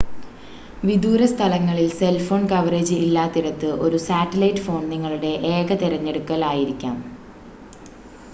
വിദൂര സ്ഥലങ്ങളിൽ cell phone coverage ഇല്ലാത്തിടത്ത് ഒരു സാറ്റലൈറ്റ് ഫോൺ നിങ്ങളുടെ ഏക തിരഞ്ഞെടുക്കൽ ആയിരിക്കാം